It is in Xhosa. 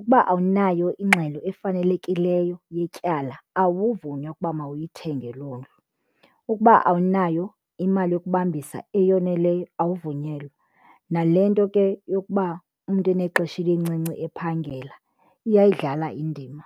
ukuba awunayo ingxelo efanelekileyo yetyala awuvunywa ukuba mawuyithenge loo ndlu. Ukuba awunayo imali yokubambisa eyoneleyo awuvunyelwa, nale nto ke yokuba umntu enexesha elincinci ephangela iyayidlala indima.